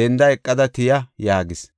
denda eqada tiya” yaagis.